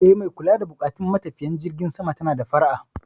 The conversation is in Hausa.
Eh, mai kula da buƙatun matafiyan jirgin sama tana da fara'a.